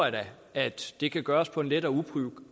at det kan gøres på en let og